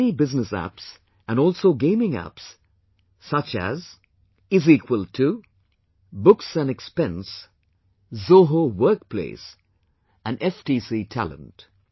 There are many business apps and also gaming apps such as Is Equal To, Books & Expense, Zoho Workplace and FTC Talent